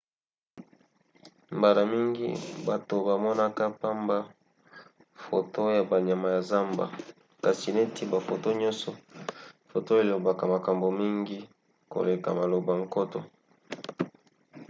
mbala mingi bato bamonaka pamba foto ya banyama ya zamba kasi neti bafoto nyonso foto elobaka makambo mingi koleka maloba nkoto